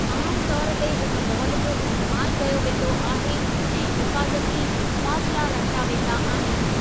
आम तौर ते हिक बॉल जो इस्तैमालु कयो वेंदो आहे, ऐं हिफ़ाज़ती फ़ासिला रखिया वेंदा आहिनि।